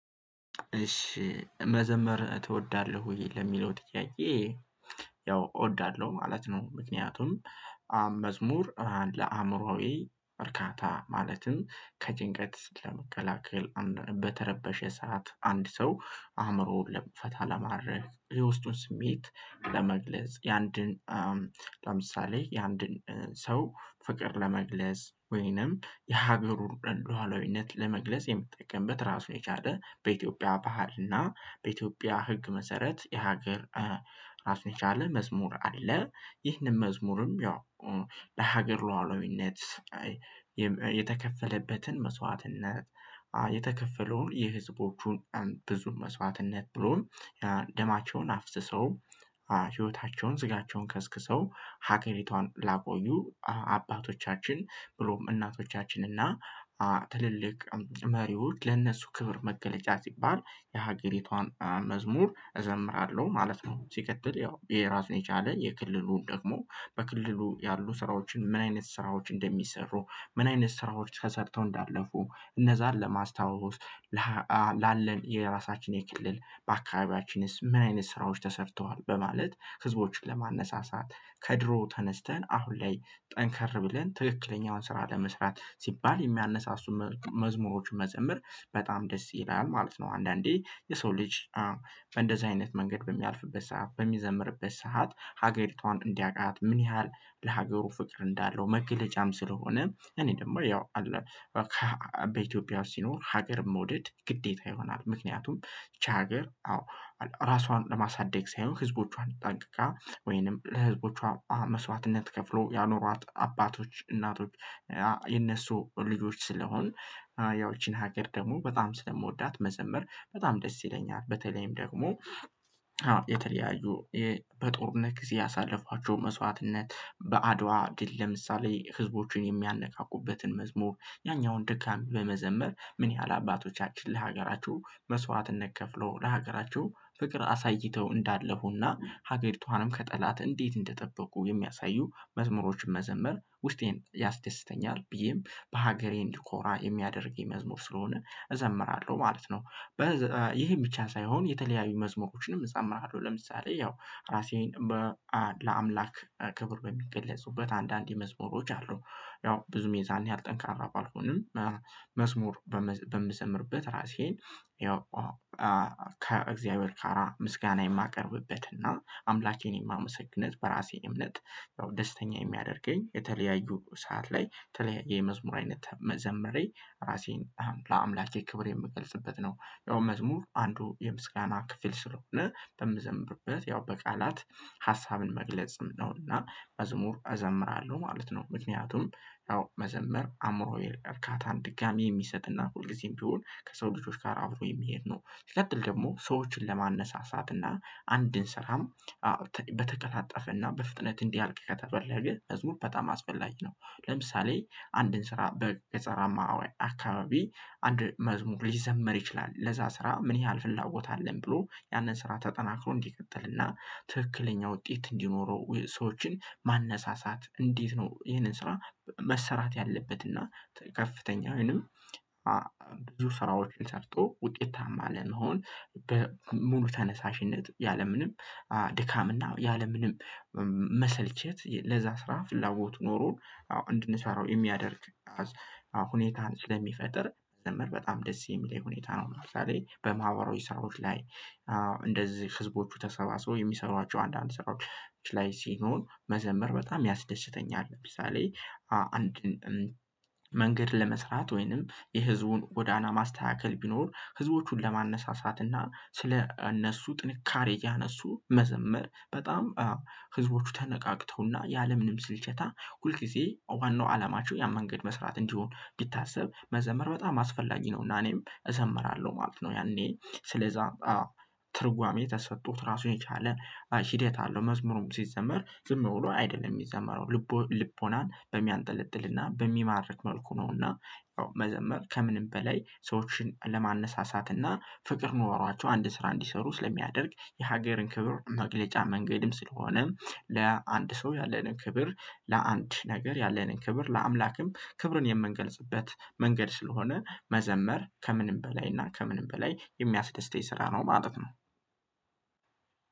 እሺ መዘመር ትወዳለሁ ወይ ለሚለው ጥያቄ? ያው እወዳለሁ ማለት ነው። ምክንያቱም መዝሙር ለአእምሮአዊ እርካታ ማለትም ከጭንቀት ለመከላከል በተረበሸ ሰዓት አንድ ሰው አእምሮ ፈታ ለማድረግ የውስጡን ስሜት ለመግለጽ የአንድን ለምሳሌ የአንድን ሰው ፍቅር ለመግለጽ ወይንም የሀገሩን ሉአላዊነት ለመግለጽ የምንጠቀምበት ራሱ የቻለ በኢትዮጵያ ባህልና በኢትዮጵያ ህግ መሰረት የሀገር አስነቻለ መዝሙር አለ። ይህንን መዝሙርም ያው ለሀገር ሉዓላዊነት የተከፈለበትን መስዋዕትነት የተከፈለውን የህዝቦቹን ብዙ መስዋዕትነት ብሎ ደማቸውን አፍስሰው ህይወታቸውን ስጋቸውን ከስክሰው ሀገሪቷን ላቆዩ አባቶቻችን ብሎም እናቶቻችን እና ትልልቅ መሪዎች ለእነሱ ክብር መገለጫ ሲባል የሀገሪቷን መዝሙር እዘምራለሁ። ማለት ነው። ሲቀተል ያው የራሱን የቻለ የክልሉን ደግሞ በክልሉ ያሉ ስራዎችን ምን አይነት ስራዎች እንደሚሰሩ ምን አይነት ስራዎች ከሰርተው እንዳለፉ እነዛን ለማስታወስ ላለን የራሳችን የክልል አካባቢያችንስ ምን አይነት ስራዎች ተሰርተዋል በማለት ህዝቦችን ለማነሳሳት ከድሮ ተነስተን አሁን ላይ ጠንከር ብለን ትክክለኛውን ስራ ለመስራት ሲባል የሚያነሳሱ መዝሙሮች መዘምር በጣም ደስ ይላል። ማለት ነው። አንዳንዴ የሰው ልጅ እንደዚህ አይነት መንገድ በሚያልፍበት ሰዓት በሚዘምርበት ሰዓት ሀገሪቷን እንዲያውቃት ምን ያህል ለሀገሩ ፍቅር እንዳለው መገለጫም ስለሆነ እኔ ደግሞ ያው አለ በኢትዮጵያ ሲኖር ሀገር መውደድ ግዴታ ይሆናል። ምክንያቱም ይቺ ሀገር አዎ ራሷን ለማሳደግ ሳይሆን ህዝቦቿን ጠንቅቃ ወይንም ለህዝቦቿ መስዋዕትነት ከፍሎ ያኖሯት አባቶች እናቶች የነሱ ልጆች ስለሆን ያው ይቺን ሀገር ደግሞ በጣም ስለምወዳት መዘምር በጣም ደስ ይለኛል። በተለይም ደግሞ የተለያዩ በጦርነት ጊዜ ያሳለፏቸው መስዋዕትነት በአድዋ ግን ለምሳሌ ህዝቦችን የሚያነቃቁበትን መዝሙር ያኛውን ደካሚ በመዘመር ምን ያህል አባቶቻችን ለሀገራቸው መስዋዕትነት ከፍሎ ለሀገራቸው ፍቅር አሳይተው እንዳለፉና ሀገሪቷንም ከጠላት እንዴት እንደጠበቁ የሚያሳዩ መዝሙሮችን መዘመር ውስጤን ያስደስተኛል ብዬም በሀገሬ እንድኮራ የሚያደርግ የመዝሙር ስለሆነ እዘምራለሁ ማለት ነው። ይሄ ብቻ ሳይሆን የተለያዩ መዝሙሮችንም እፀምራለሁ ለምሳሌ ያው ራሴን ለአምላክ ክብር በሚገለጹበት አንዳንዴ መስሙሮች አሉ። ያው ብዙ ሜዛን ያልጠንካራ ባልሆንም መዝሙር በምዘምርበት ራሴን ያው ከእግዚአብሔር ጋራ ምስጋና የማቀርብበትና አምላኬን የማመሰግነት በራሴ እምነት ደስተኛ የሚያደርገኝ የተለያዩ ሰዓት ላይ የመዝሙር አይነት መዘመሬ ራሴን ለአምላኬ ክብር የምገልጽበት ነው። ያው መዝሙር አንዱ የምስጋና ክፍል ስለሆነ በምዘምርበት ያው በቃላት ሀሳብን መግለጽም ነውና መዝሙር እዘምራለሁ ማለት ነው። ምክንያቱም ያው መዘመር አእምሮዬ እርካታን ድጋሚ የሚሰጥና ሁልጊዜም ቢሆን ከሰው ልጆች ጋር አብሮ የሚሄድ ነው። ሲቀጥል ደግሞ ሰዎችን ለማነሳሳትና አንድን ስራም በተቀላጠፈና በፍጥነት እንዲያልቅ ከተፈለገ መዝሙር በጣም አስፈላጊ ነው። ለምሳሌ አንድን ስራ በገጸራማ አካባቢ አንድ መዝሙር ሊዘመር ይችላል ለዛ ስራ ምን ያህል ፍላጎት አለን ብሎ ያንን ስራ ተጠናክሮ እንዲቀጥልና ትክክለኛ ውጤት እንዲኖረው ሰዎችን ማነሳሳት እንዴት ነው? ይሄንን ስራ መሰራት ያለበት እና ከፍተኛ ወይንም ብዙ ስራዎችን ሰርቶ ውጤታማ ለመሆን ሙሉ ተነሳሽነት ያለምንም ድካም እና ያለምንም መሰልቸት ለዛ ስራ ፍላጎት ኖሮን እንድንሰራው የሚያደርግ ሁኔታን ስለሚፈጥር ዘመር በጣም ደስ የሚለኝ ሁኔታ ነው ማለት ነው። በማህበራዊ ሰራዊት ላይ እንደዚህ ህዝቦቹ ተሰባስቦ የሚሰሯቸው አንዳንድ ስራዎች ላይ ሲኖር መዘምር በጣም ያስደስተኛል። ለምሳሌ አንድን መንገድ ለመስራት ወይንም የህዝቡን ጎዳና ማስተካከል ቢኖር ህዝቦቹን ለማነሳሳትና ስለ እነሱ ጥንካሬ እያነሱ መዘመር በጣም ህዝቦቹ ተነቃቅተውና ያለምንም ስልቸታ ሁል ጊዜ ዋናው አላማቸው ያ መንገድ መስራት እንዲሆን ቢታሰብ መዘመር በጣም አስፈላጊ ነው። እና እኔም እዘምራለሁ ማለት ነው። ያኔ ስለዛ ትርጓሜ ተሰጥቶት ራሱን የቻለ ሂደት አለው። መዝሙሩም ሲዘመር ዝም ብሎ አይደለም የሚዘመረው ልቦናን በሚያንጠለጥልና በሚማርክ መልኩ ነውና ያው መዘመር ከምንም በላይ ሰዎችን ለማነሳሳትና ፍቅር ኖሯቸው አንድ ስራ እንዲሰሩ ስለሚያደርግ የሀገርን ክብር መግለጫ መንገድም ስለሆነ ለአንድ ሰው ያለንን ክብር ለአንድ ነገር ያለንን ክብር ለአምላክም ክብርን የምንገልጽበት መንገድ ስለሆነ መዘመር ከምንም በላይ እና ከምንም በላይ የሚያስደስተኝ ስራ ነው ማለት ነው።